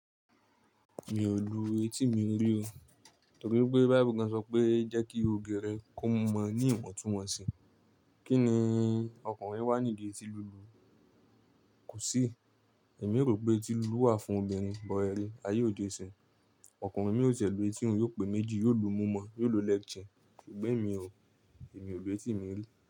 Mi ò lu etí mi rí o, torí pé bible gan sọ pé jẹ́ kí oge rẹ kó mọ ní ìwọ̀ntúnwọ̀nsì. Kí ni ọkùnrin wá nídi etí lulu? Kò sí. Èmi rò pé etí lulu wà fún obìnrin, but ẹ ri, ayé òde isinyìn. Ọkùnrin mí ò ti ẹ̀ lù etí òun, yóò pe méjì, yóò lu imu mọ́, yóò lo leg chain. Ṣùgbọ́n emi ò, èmi ò lu etí mi rí.